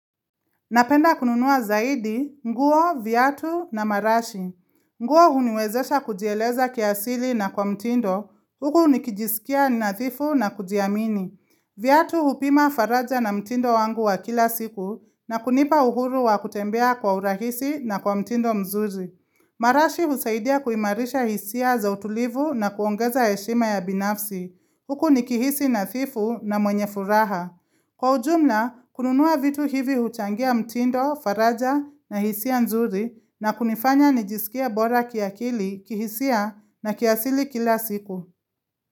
Napenda kununua zaidi nguo, Viatu na marashi. Nguo huniwezesha kujieleza kiasili na kwa mtindo. Huku nikijisikia nadhifu na kujiamini. Viatu hupima faraja na mtindo wangu wa kila siku na kunipa uhuru wa kutembea kwa urahisi na kwa mtindo mzuri. Marashi husaidia kuimarisha hisia za utulivu na kuongeza heshima ya binafsi. Huku ni kihisi nadhifu na mwenye furaha. Kwa ujumla, kununua vitu hivi huchangia mtindo, faraja na hisia nzuri na kunifanya nijisikie bora kiakili, kihisia na kiasili kila siku.